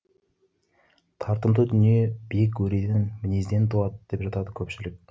тартымды дүние биік өреден мінезден туады деп жатады көпшілік